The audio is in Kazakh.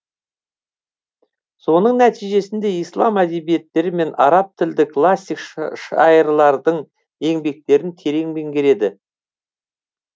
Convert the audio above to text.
соның нәтижесінде ислам әдебиеттері мен араб тілді классик шайырлардың еңбектерін терең меңгереді